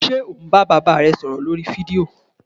Ṣe o n ba baba re sọrọ lorí fídío?